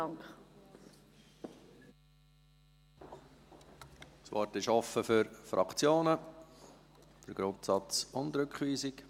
Das Wort ist offen für die Fraktionen zum Grundsatz und zur Rückweisung.